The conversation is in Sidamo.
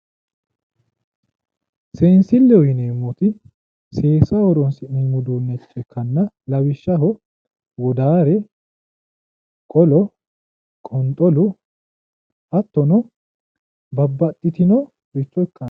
Seensilleho yineemmoti seesaho horoonsi'neemmo uduunnicho ikkanna lawishshaho wodaare qolo qonxolu hattono babbaxxitinoricho ikkanno